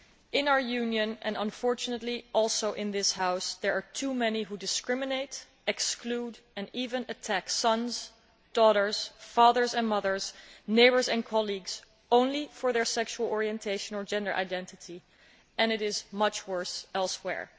In our Union, and unfortunately also in this House, there are too many who discriminate, exclude and even attack sons, daughters, fathers and mothers, neighbours and colleagues simply because of their sexual orientation or gender identity, and it is much worse elsewhere.